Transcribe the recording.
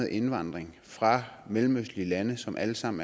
indvandring fra mellemøstlige lande som alle sammen